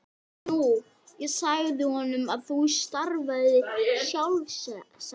Nú ég sagði honum að þú starfaðir sjálfstætt.